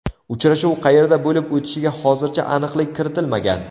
Uchrashuv qayerda bo‘lib o‘tishiga hozircha aniqlik kiritilmagan.